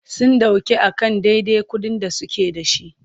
Sun ɗauke a kan dadai kuɗin da suke.da.shi.